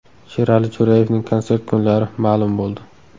Sherali Jo‘rayevning konsert kunlari ma’lum bo‘ldi.